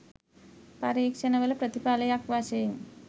පරීක්‍ෂණවල ප්‍රතිඵලයක් වශයෙනි